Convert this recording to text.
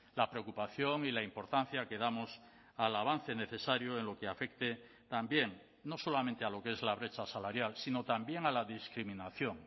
la preocupación y la importancia que damos al avance necesario en lo que afecte también no solamente a lo que es la brecha salarial sino también a la discriminación